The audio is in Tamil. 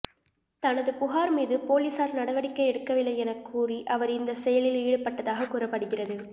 தனது புகாா் மீது போலீஸாா் நடவடிக்கை எடுக்கவில்லை எனக் கூறி அவா் இந்தச் செயலில் ஈடுபட்டதாக கூறப்படுகிறது